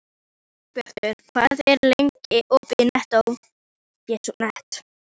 Dagbjartur, hvað er lengi opið í Nettó?